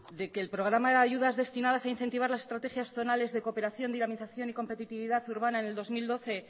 de que el programa de ayudas destinadas a incentivar las estrategias zonales de cooperación dinamización y competitividad urbana en el dos mil doce